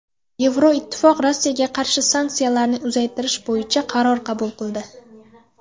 Yevroittifoq Rossiyaga qarshi sanksiyalarni uzaytirish bo‘yicha qaror qabul qildi.